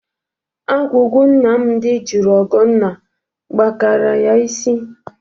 Agwugwu Nnamdị jụrụ Ọgọnna kpakara ya isi.